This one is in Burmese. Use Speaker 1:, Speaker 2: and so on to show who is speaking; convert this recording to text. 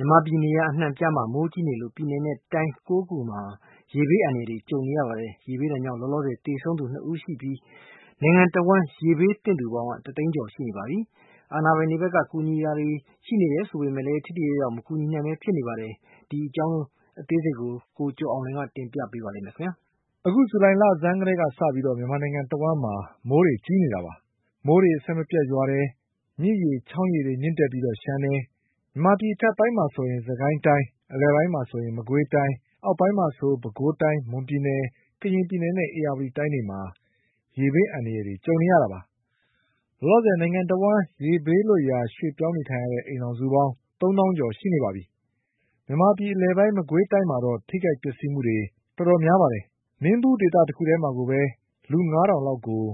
Speaker 1: ြန်မာပြည်နေရာအနှံ့အပြားမှာ မိုးကြီးနေလို့ ပြည်နယ်နဲ့တိုင်း၉ခုမှာ ရေဘေးအန္တရာယ်ကြုံနေရပါတယ်။ ရေဘေးဒဏ်ကြောင့် လောလောဆယ် သေဆုံးသူ ၂ဦးရှိနေပြီး နိုင်ငံတဝှမ်းရေဘေးသင့်သူပေါင်း ၁သိန်းကျော်ရှိနေပါပြီ။ အာဏာပိုင်တွေဘက်က ကူညီမှုတွေရှိနေတယ်ဆိုပေမဲ့လည်း ထိရောက်အောင်မကူညီနိုင်ပဲဖြစ်နေပါတယ်။ ဒီအကြောင်း ကိုကျော်အောင်လွင်က တင်ပြပါလိမ့်မယ်။ အခုဇူလိုင်လဆန်းကတည်းကစပြီး မြန်မာနိုင်ငံတဝှမ်းမှာ မိုးကြီးနေတာပါ။ မိုးတွေအဆက်မပြတ်ရွာတယ်၊ မြစ်ရေချောင်း ရေတွေမြင့်တက်ပြီးလျှံတယ်။ မြန်မာပြည်အထက်ပိုင်းမှာဆို စစ်ကိုင်းတိုင်း၊ အလယ်ပိုင်းမှာဆို မကွေးတိုင်း၊ အောက်ပိုင်း မှာဆို ပဲခူးတိုင်း၊ မွန်ပြည်နယ်၊ ရခိုင်ပြည်နယ်၊ ကရင်ပြည်နယ်နဲ့ ဧရာဝတီတိုင်းတွေမှာ ရေဘေးအန္တရာယ်တွေကြုံနေရတာပါ။ လောလောဆယ် နိုင်ငံတဝှမ်း ရေဘေးလွတ်ရာရွှေ့ ပြောင်းနေရတဲ့အိမ်ထောင်စုပေါင်း ၃ သောင်းကျော်ရှိနေပါပြီ။ မကွေး တိုင်းကတော့ ထိခိုက်ပျက်စီးမှုတော်တော်များပါတယ်။ မင်းဘူးဒေသတခုထဲမှာကိုပဲ လူ၅ထောင်လောက်ကို